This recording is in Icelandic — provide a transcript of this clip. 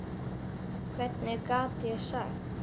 Hvað gat ég sagt?